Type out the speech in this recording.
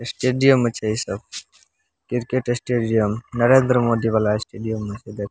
Stadium अछे इ सब क्रिकेट स्टेडियम नरेंद्र मोदी वाला स्टेडियम म छे देख।